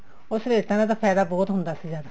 ਉਹ ਸਲੇਟਾਂ ਦਾ ਤਾਂ ਫਾਇਦਾ ਬਹੁਤ ਹੁੰਦਾ ਸੀ ਸਾਨੂੰ